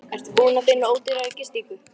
Ertu búinn að finna ódýrari gistingu?